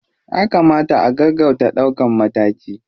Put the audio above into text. Ya kamata a gaggauta ɗaukan mataki.